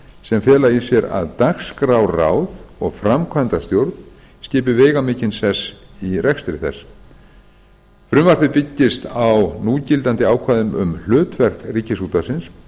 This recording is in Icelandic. sem fela í sér að dagskrárráð og framkvæmdastjórn skipi veigamikinn sess í rekstri þess frumvarpið byggist á núgildandi ákvæðum um hlutverk ríkisútvarpsins